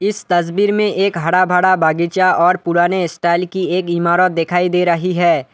इस तस्वीर में एक हरा भरा बगीचा और पुराने स्टाइल की एक इमारत दिखाई दे रही है।